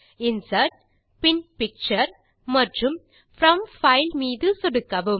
insert பின் picture மற்றும் ட் ப்ரோம் பைல் மீது சொடுக்கவும்